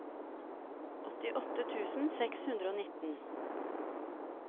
åttiåtte tusen seks hundre og nitten